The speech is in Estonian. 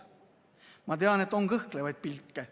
Aga ma tean, et on ka kõhklevaid pilke.